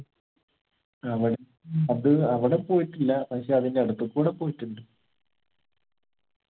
ആ പോയി അത് അവിടെ പോയിട്ടില്ല പക്ഷെ അതിന്റെ അടുത്തുകൂടെ പോയിട്ടുണ്ട്